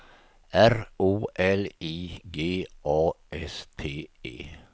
R O L I G A S T E